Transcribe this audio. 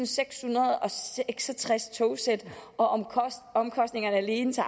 seks og tres togsæt og omkostningerne alene til